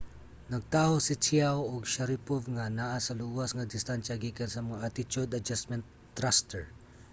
nagtaho si chiao ug sharipov nga naa sa luwas nga distansya gikan sa mga attitude adjustment thruster